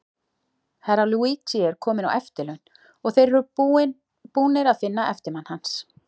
Herra Luigi er kominn á eftirlaun, og þeir eru búnir að finna eftirmann hans.